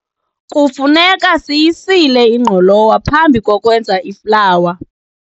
kufuneka siyisile ingqolowa phambi kokwenza iflawa